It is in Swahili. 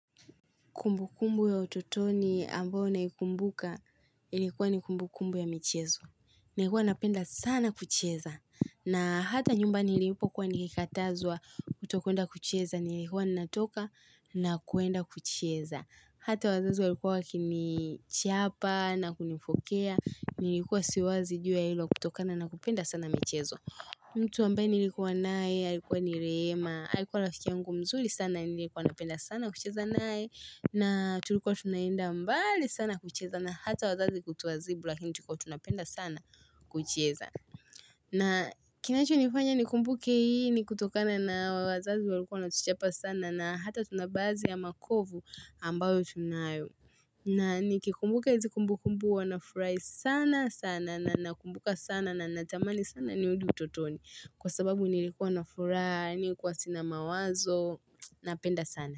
Kumbu kumbu ya ututoni ambayo naikumbuka ilikuwa ni kumbu kumbu ya michezo. Nalikua napenda sana kucheza. Na hata nyumba nilipo kuwa nikikatazwa kutokuenda kucheza. Nilikuwa natoka na kuenda kucheza. Hata wazazi walikuwa wakinichapa na kunifokea. Nilikuwa siwazi jua hilo kutokana na kupenda sana michezo. Mtu ambae nilikuwa naye. Aikuwa ni rehema alikuwa rafiki yangu mzuri sana. Nilikuwa napenda sana kucheza nae. Na tulikuwa tunaenda mbali sana kucheza na hata wazazi kutuadhibu lakini tulikua tunapenda sana kucheza na kinacho nifanya nikumbuke hii ni kutokana na wazazi walikuwa wanatuchapa sana na hata tunabadhii ya makovu ambayo tunayo na nikikumbuka hizi kumbu kumbu wa nafurahi sana sana na nakumbuka sana na natamani sana ni hurudi utotoni kwa sababu nilikuwa na furahi nilikuwa sina mawazo napenda sana.